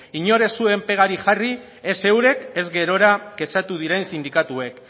inork ez zuen pegarik jarri ez eurek ez gerora kexatu diren sindikatuek